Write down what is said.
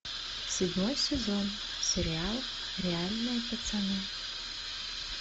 седьмой сезон сериал реальные пацаны